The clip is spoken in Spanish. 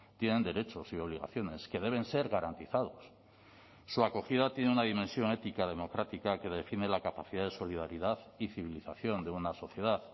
tienen derechos y obligaciones que deben ser garantizados su acogida tiene una dimensión ética democrática que define la capacidad de solidaridad y civilización de una sociedad